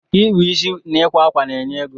ịkpa isi na ịkwa ákwà na enye ego